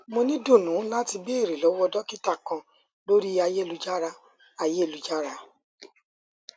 mo ni idunnu lati beere lọwọ dokita kan lori ayelujara ayelujara